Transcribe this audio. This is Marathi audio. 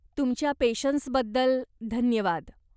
तुमच्या पेशन्सबद्दल धन्यवाद.